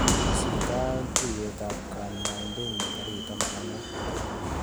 Tesyi katuiyetap kanyaidenyu tarik taman ak mut.